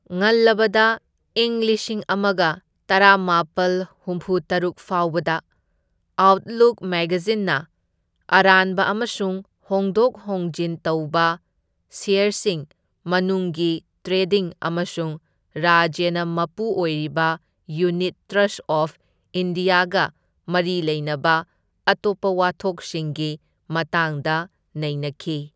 ꯉꯜꯂꯕꯗ ꯏꯪ ꯂꯤꯁꯤꯡ ꯑꯃꯒ ꯇꯔꯥꯃꯥꯄꯜ ꯍꯨꯝꯐꯨꯇꯔꯨꯛ ꯐꯥꯎꯕꯗ, ꯑꯥꯎꯠꯂꯨꯛ ꯃꯦꯒꯖꯤꯟꯅ ꯑꯔꯥꯟꯕ ꯑꯃꯁꯨꯡ ꯍꯣꯡꯗꯣꯛ ꯍꯣꯡꯖꯤꯟ ꯇꯧꯕ ꯁꯦꯌꯔꯁꯤꯡ, ꯃꯅꯨꯡꯒꯤ ꯇ꯭ꯔꯦꯗꯤꯡ ꯑꯃꯁꯨꯡ ꯔꯥꯖ꯭ꯌꯅ ꯃꯄꯨ ꯑꯣꯏꯔꯤꯕ ꯌꯨꯅꯤꯠ ꯇ꯭ꯔꯁꯠ ꯑꯣꯐ ꯏꯟꯗꯤꯌꯥꯒ ꯃꯔꯤ ꯂꯩꯅꯕ ꯑꯇꯣꯞꯄ ꯋꯥꯊꯣꯛꯁꯤꯡꯒꯤ ꯃꯇꯥꯡꯗ ꯅꯩꯅꯈꯤ꯫